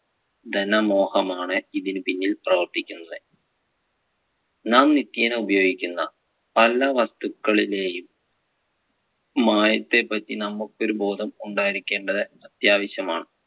ധനമോഹമാണ് ഇതിനു പിന്നിൽ പ്രവർത്തിക്കുന്നത്. നാം നിത്യേന ഉപയോഗിക്കുന്ന പല വസ്തുകളിലെയും മായത്തെ പറ്റി നമുക്ക് ഒരു ബോധം ഉണ്ടായിരിക്കേണ്ടത് അത്യാവശമാണ്.